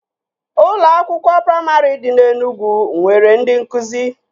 Ụlọ akwụkwọ praimarị dị na Enugwu nwere ndị nkụzi